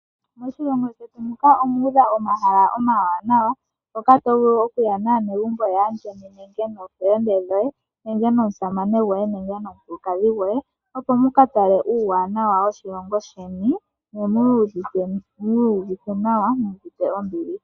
Moshilongo shetu muka omuudha omahala omawanawa hoka tovulu okuya naanegumbo yaa ndjeni nenge noofelende dhoye nenge nomusamane goye nenge nomukulukadhi goye, opo mukatale uuwanawa woshilongo sheni. Ne mwii yuvithe nawa muuvite ombili.